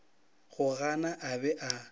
go gana a be a